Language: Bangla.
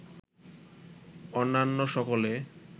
অন্যান্য সকলে